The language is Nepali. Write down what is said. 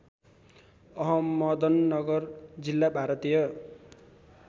अहमदनगर जिल्ला भारतीय